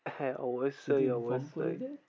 হ্যাঁ অবশ্যই অবশ্যই।